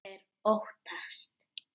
Þeir óttast.